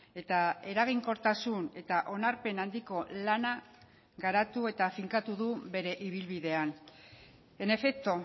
eta eraginkortasun eta onarpen handiko lana garatu eta finkatu du bere ibilbidean en efecto